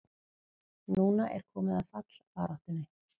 Núna er komið að fallbaráttunni!